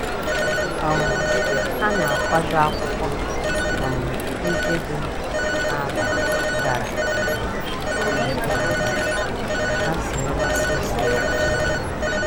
um Ha na-akwado akwụkwọ um ndị dị mkpa n’abalị gara um aga ka ha zere ọsịsọ ụtụtụ.